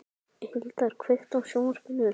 Hildar, kveiktu á sjónvarpinu.